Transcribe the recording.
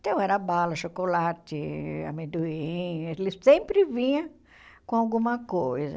Então, era bala, chocolate, amendoim, ele sempre vinha com alguma coisa.